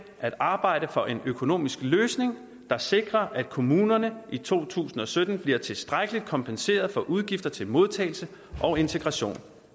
at arbejde for en økonomisk løsning der sikrer at kommunerne i to tusind og sytten bliver tilstrækkeligt kompenseret for udgifter til modtagelse og integration